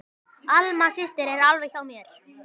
Alma systir er alveg hjá mér.